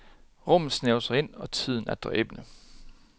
Rummet snævrer sig ind, og tiden er dræbende.